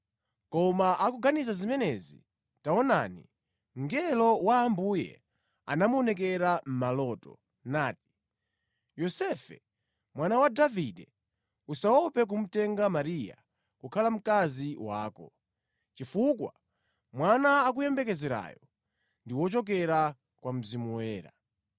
Koma akuganiza zimenezi, taonani, mngelo wa Ambuye anamuonekera mʼmaloto nati, “Yosefe mwana wa Davide, usaope kumutenga Mariya kukhala mkazi wako, chifukwa mwana akuyembekezerayo ndi wochokera kwa Mzimu Woyera.